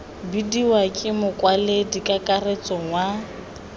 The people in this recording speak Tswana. bidiwa ke mokwaledi kakaretso wa